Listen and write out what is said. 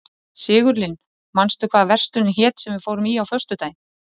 Sigurlinn, manstu hvað verslunin hét sem við fórum í á föstudaginn?